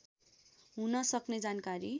हुन सक्ने जानकारी